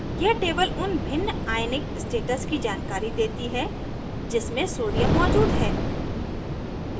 यह table उन भिन्न ionic states की जानकारी देती है जिसमे sodium मौजूद है